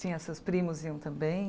Sim os seus primos iam também?